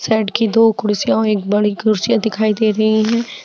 Side की दो कुर्सियां और एक बड़ी कुर्सियां दिखाई दे रही है।